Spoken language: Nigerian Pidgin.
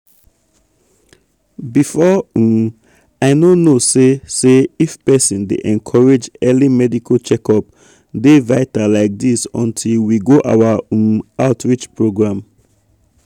before um i no know say say if persin dey encourage early medical checkup dey vital like this until we go our um outreach program.